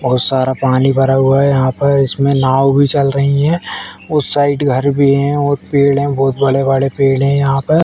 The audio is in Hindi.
बहुत सारा पानी भरा हुआ है यहाँ पर। इसमें नाव भी चल रही है। उस साइड घर भी है और पेड़ हैं। बहुत बड़े-बड़े पेड़ है यहाँ पर।